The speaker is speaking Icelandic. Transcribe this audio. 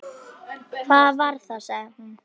Hvað var það? sagði hún.